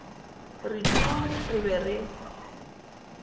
re tuu re be re